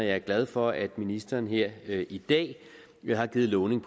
er glad for at ministeren her i dag har lovet